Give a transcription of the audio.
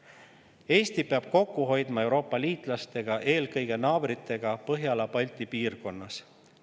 Eesti peab kokku hoidma Euroopa liitlastega, eelkõige naabritega Põhjala-Balti piirkonnas.